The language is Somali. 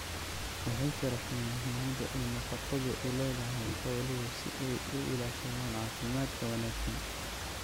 waxay sharaxeen muhiimada ay nafaqadu u leedahay xooluhu si ay u ilaashadaan caafimaadka wanaagsan.